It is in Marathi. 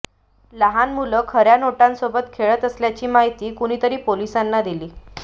लहान मुलं खऱ्या नोटांसोबत खेळत असल्याची माहिती कुणीतरी पोलिसांना दिली